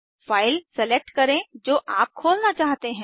file select करे जो आप खोलना चाहते हैं